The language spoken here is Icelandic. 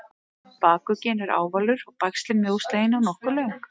bakugginn er ávalur og bægslin mjóslegin og nokkuð löng